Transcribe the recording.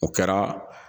O kɛra